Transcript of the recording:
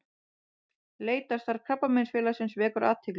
Leitarstarf Krabbameinsfélagsins vekur athygli